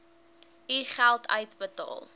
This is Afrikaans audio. u geld uitbetaal